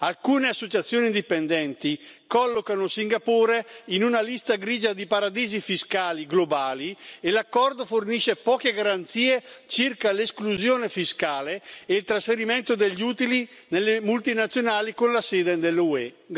Alcune associazioni dipendenti collocano Singapore in una lista grigia di paradisi fiscali globali e l'accordo fornisce poche garanzie circa l'esclusione fiscale e il trasferimento degli utili delle multinazionali con la sede nell'UE.